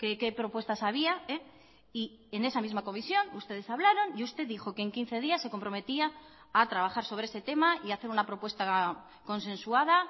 qué propuestas había y en esa misma comisión ustedes hablaron y usted dijo que en quince días se comprometía a trabajar sobre ese tema y a hacer una propuesta consensuada